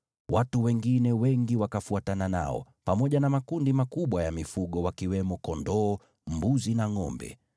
Watu wengine wengi wakafuatana nao, pamoja na makundi makubwa ya mifugo wakiwemo kondoo, mbuzi na ngʼombe.